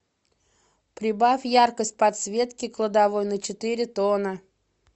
прибавь яркость подсветки кладовой на четыре тона